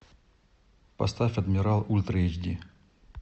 поставь адмирал ультра эйч ди